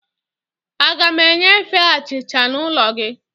Aga m enyefe achịcha n'ụlọ gị